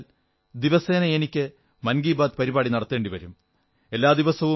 ഞാൻ വിചാരിച്ചാൽ എനിക്ക് ദിവസേന മൻകീ ബാത് പരിപാടി നടത്തേണ്ടി വരും